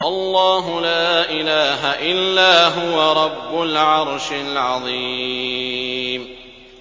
اللَّهُ لَا إِلَٰهَ إِلَّا هُوَ رَبُّ الْعَرْشِ الْعَظِيمِ ۩